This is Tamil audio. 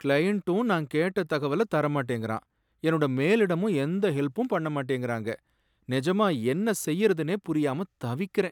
க்ளையண்ட்டும் நான் கேட்ட தகவல தர மாட்டிங்கறான் என்னோட மேலிடமும் எந்த ஹெல்ப்பும் பண்ண மாட்டேங்கறாங்க, நெஜமா என்ன செய்யறதுனே புரியாம தவிக்கறேன்.